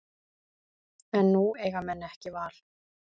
En nú eiga menn ekki val